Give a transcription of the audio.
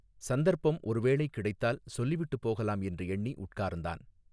சந்தர்ப்பம் ஒரு வேளை கிடைத்தால் சொல்லிவிட்டுப் போகலாம் என்று எண்ணி உட்கார்ந்தான்.